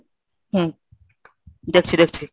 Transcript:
হম, দেখছি দেখছি।